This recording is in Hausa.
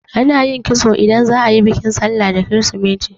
Ana yin kitso idan za'a yi bikin sallah da kirisimeti.